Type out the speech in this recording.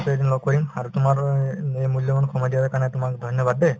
এদিন লগ কৰিম আৰু তোমাৰ এ এই মূল্যবান সময় দিয়াৰ কাৰণে তোমাক ধন্যবাদ দে